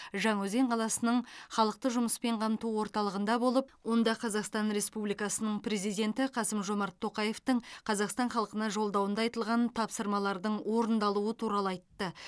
жаңаөзен қаласының халықты жұмыспен қамту орталығында болып онда қазақстан республикасының президенті қасым жомарт тоқаевтың қазақстан халқына жолдауында айтылған тапсырмалардың орындалуы туралы айтты